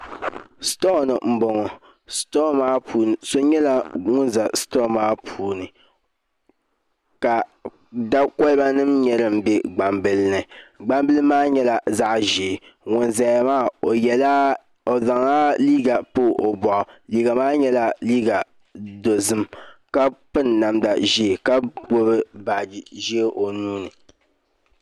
Sitoo ni n boŋo so nyɛla ŋun ʒɛ sitoo maa puuni ka da kolba nim nyɛ din bɛ gbambili ni gbambili maa nyɛla zaɣ ʒiɛ ŋun ʒɛya maa o zaŋla liiga pa o boɣu liiga maa nyɛla liiga dozim ka piri namda ʒiɛ ka gbubi baaji ʒiɛ o nuuni